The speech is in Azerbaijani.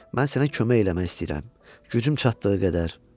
Mən sənə kömək eləmək istəyirəm gücüm çatdığı qədər.